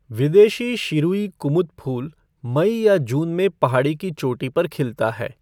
विदेशी शिरुई कुमुद फूल मई या जून में पहाड़ी की चोटी पर खिलता है।